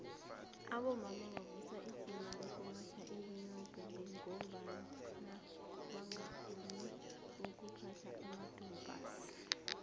abomma bavusa ijima lokuya eunion buildings ngombana bangafuni ukuphatha amadompass